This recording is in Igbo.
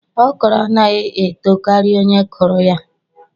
Okro anaghi eto kari onye kuru ya